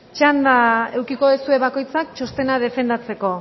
txanda edukiko duzue bakoitzak txostena defendatzeko